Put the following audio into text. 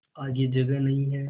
आगे जगह नहीं हैं